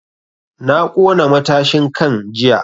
Na ƙona matashin kan jiya